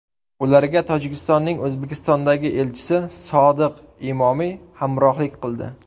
Ularga Tojikistonning O‘zbekistondagi elchisi Sodiq Imomiy hamrohlik qildi.